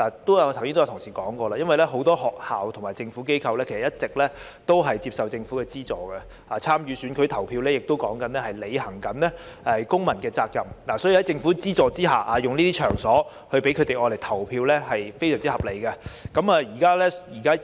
剛才有同事提過，很多學校及非政府機構一直接受政府資助，而參與選舉投票亦是履行公民責任，所以將收取政府資助的場所用作投票站是非常合理的。